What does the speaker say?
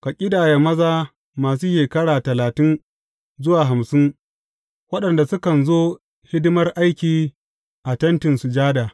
Ka ƙidaya maza masu shekara talatin zuwa hamsin waɗanda sukan zo hidimar aiki a Tentin Sujada.